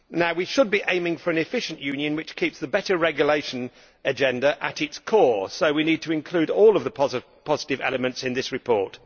We should be aiming for an efficient Union which keeps the better regulation agenda at its core, so we need to include all the positive elements in this report.